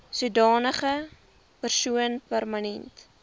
sodanige persoon permanent